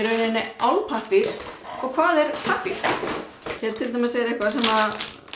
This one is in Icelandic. álpappír eða hvað er pappír hér er til dæmis er eitthvað sem